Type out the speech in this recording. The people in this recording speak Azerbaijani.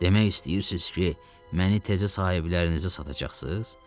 Demək istəyirsiz ki, məni təzə sahiblərinizə satacaqsınız?